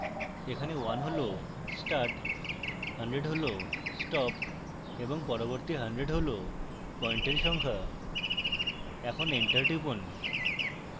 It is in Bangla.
এখানে 1 হল start 100 হল stop এবং পরবর্তী 100 হল পয়েন্টের সংখ্যা এখন enter টিপুন